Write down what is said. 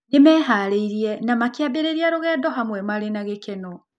Nĩ meharĩirie na makĩambĩrĩria rũgendo hamwe marĩ na gĩkeno.